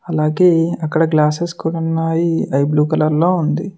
అలాగే అక్కడ గ్లాసెస్ కూడున్నాయి అది బ్లూ కలర్ లో ఉంది.